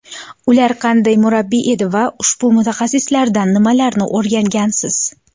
Ular qanday murabbiy edi va ushbu mutaxassislardan nimalarni o‘rgangansiz?